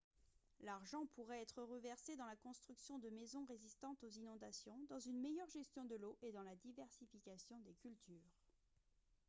l'argent pourrait être reversé dans la construction de maisons résistantes aux inondations dans une meilleure gestion de l'eau et dans la diversification des cultures